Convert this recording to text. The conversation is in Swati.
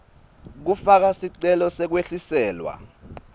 kufaka sicelo sekwehliselwa